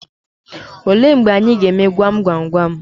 Olee mgbe anyị ga-eme gwam gwam gwam?